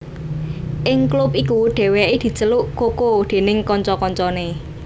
Ing klub iku Dèwèké diceluk Coco déning kanca kancané